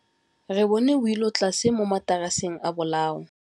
Re bone wêlôtlasê mo mataraseng a bolaô.